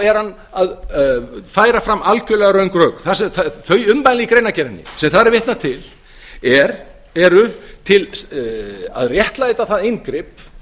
er hann að færa fram algjörlega röng rök þau ummæli í greinargerðinni sem þar er vitnað til eru að réttlæta það inngrip